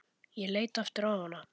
Ég leit aftur á hana.